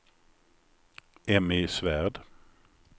Emmy Svärd